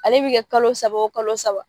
Ale bi kɛ kalo saba o kalo saba.